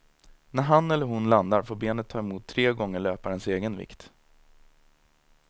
När han eller hon landar får benet ta emot tre gånger löparens egen vikt.